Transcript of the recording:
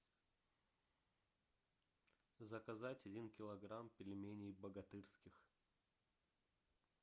заказать один килограмм пельменей богатырских